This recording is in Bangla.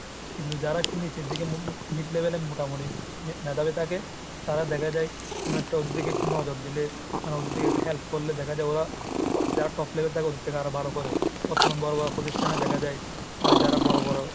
কিন্তু যারা একটু নিচের দিকে mid level এ মোটামুটি ভে ⁓ ভেদাভেদ থাকে তারা দেখা যায় কোনো একটা ওদের দিকে একটু নজর দিলে মানে ওদের দিকে একটু help করলে দেখা যায় ওরা যারা top level থাকে ওদের থেকে আরো ভালো করে। প্রথমে বড় বড় প্রতিষ্ঠানে দেখা যায়, মানে যারা বড় বড়